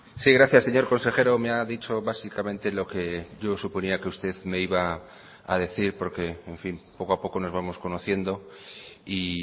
sí gracias señor consejero me ha dicho básicamente lo que yo suponía que usted me iba a decir porque en fin poco a poco nos vamos conociendo y